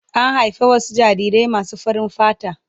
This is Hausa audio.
An haifi wasu jarirai masu farin fata.